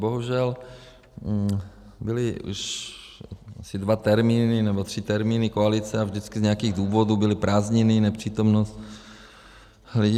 Bohužel byly už asi dva termíny nebo tři termíny koalice a vždycky z nějakých důvodů byly prázdniny, nepřítomnost lidí.